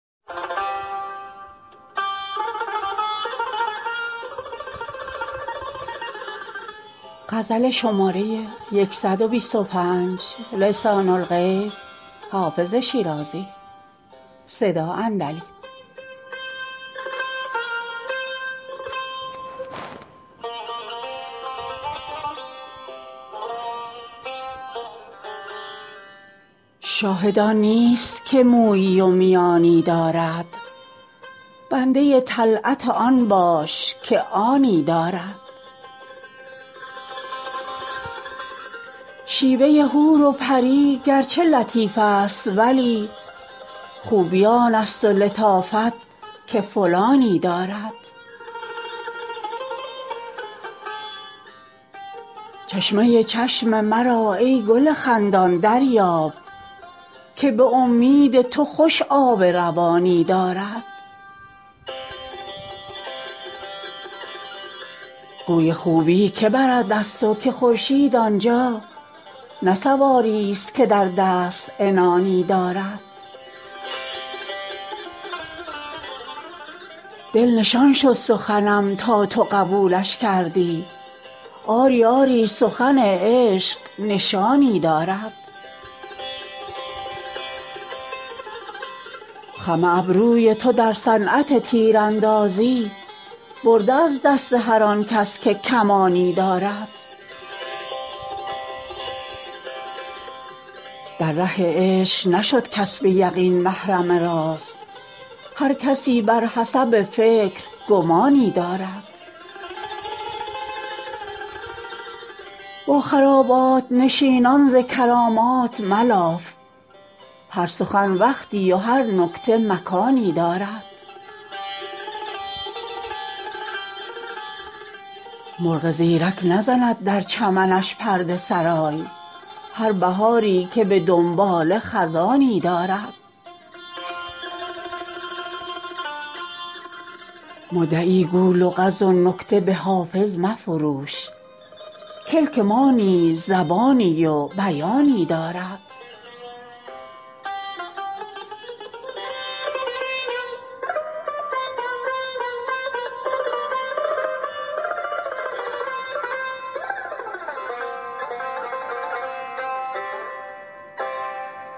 شاهد آن نیست که مویی و میانی دارد بنده طلعت آن باش که آنی دارد شیوه حور و پری گرچه لطیف است ولی خوبی آن است و لطافت که فلانی دارد چشمه چشم مرا ای گل خندان دریاب که به امید تو خوش آب روانی دارد گوی خوبی که برد از تو که خورشید آن جا نه سواریست که در دست عنانی دارد دل نشان شد سخنم تا تو قبولش کردی آری آری سخن عشق نشانی دارد خم ابروی تو در صنعت تیراندازی برده از دست هر آن کس که کمانی دارد در ره عشق نشد کس به یقین محرم راز هر کسی بر حسب فکر گمانی دارد با خرابات نشینان ز کرامات ملاف هر سخن وقتی و هر نکته مکانی دارد مرغ زیرک نزند در چمنش پرده سرای هر بهاری که به دنباله خزانی دارد مدعی گو لغز و نکته به حافظ مفروش کلک ما نیز زبانی و بیانی دارد